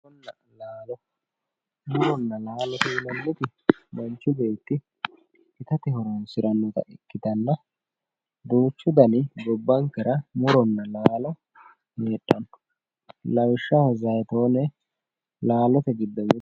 muronna laalo muronna laalo yinanniti manhci beetti itate horonsirannota ikkitanna duuchu dani muronna laalo no lawishshaho zayitoone laalote